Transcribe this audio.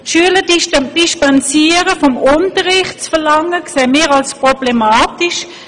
Wir erachten es als problematisch, zu verlangen, die Schüler vom Unterricht dispensieren zu können.